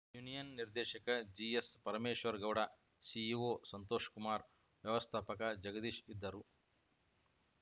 union ನಿರ್ದೇಶಕ ಜಿಎಸ್‌ಪರಮೇಶ್ವರಗೌಡ CEO Santoshkumara ವ್ಯವಸ್ಥಾಪಕ ಜಗದೀಶ ಇದ್ದರು